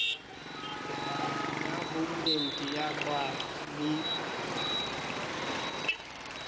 ya homeland ya qwaqwa le